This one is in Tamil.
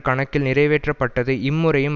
கணக்கில் நிறைவேற்றப்பட்டது இம்முறையும்